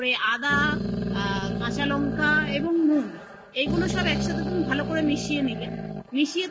তারপরে আদা আ কাঁচালঙ্কা এবং নুন এইগুলো তুমি একসাথে ভালো করে মিশিয়ে নিবে মিশিয়ে